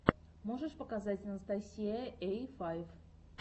можешь показать анастасия эй файв